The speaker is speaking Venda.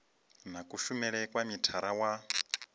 na kushumele kwa mithara wa